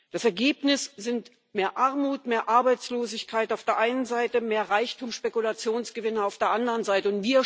Das Ergebnis sind mehr Armut, mehr Arbeitslosigkeit auf der einen Seite, mehr Reichtum, Spekulationsgewinne auf der anderen Seite.